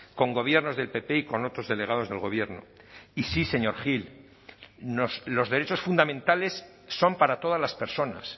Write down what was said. con gobiernos del pp y con otros delegados del gobierno y sí señor gil los derechos fundamentales son para todas las personas